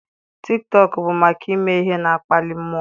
Tiktọk bụ maka ime ihe na-akpali mmụọ.